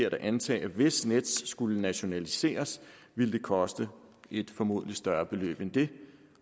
at antage at hvis nets skulle nationaliseres ville det koste et formodentlig større beløb end det